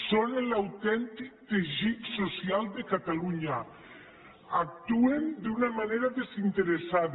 són l’autèntic teixit social de catalunya actuen d’una manera desinteressada